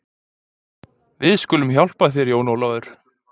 Við skulum hjálpa þér Jón Ólafur.